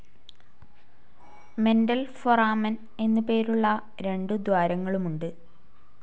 Mental foramen എന്നുപേരുള്ള രണ്ടു ദ്വാരങ്ങളുമുണ്ട്.